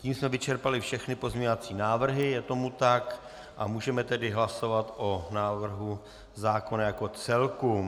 Tím jsme vyčerpali všechny pozměňovací návrhy, je tomu tak, a můžeme tedy hlasovat o návrhu zákona jako celku.